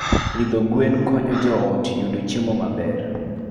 Pidho gwen konyo joot yudo chiemo maber.